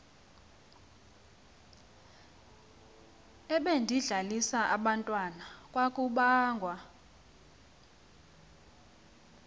ebedlalisa abantwana kwakubangwa